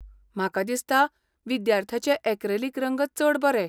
म्हाका दिसता विद्यार्थ्याचें ऍक्रॅलिक रंग चड बरे.